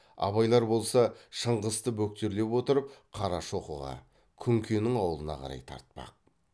абайлар болса шыңғысты бөктерлеп отырып қарашоқыға күнкенің аулына қарай тартпақ